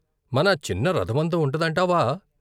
"మన చిన్న రథమంత ఉంటదంటావా?